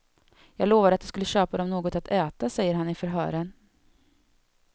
Jag lovade att jag skulle köpa dom något att äta, säger han i förhören.